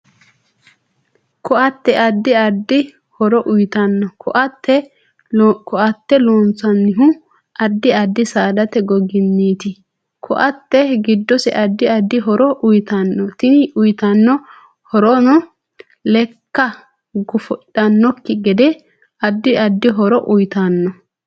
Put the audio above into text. Ko'atte addi addi horo uyiitanno ko'atte loonsanihu addi addi saadate goginiiti ko'atte giddose addi addi horo uyiitanno tini uyiitanno horonno leekka gofidhanokki gede addi addi horo uyiitanno